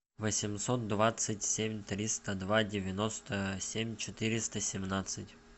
восемьсот двадцать семь триста два девяносто семь четыреста семнадцать